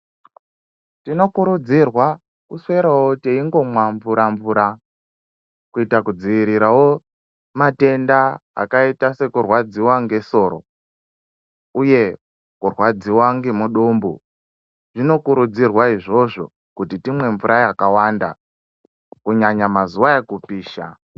Tinokurudzirwa kuswerawo teingomwa mvura- mvura, kuita kudziirirawo matenda akaita sekurwadziwa ngesoro, uye kurwadziwa ngemudumbu, zvinokurudzirwa izvozvo kuti timwe mvura yakawanda kunyanya mazuwa ekupisha.